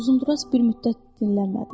Uzunduraz bir müddət dinləmədi.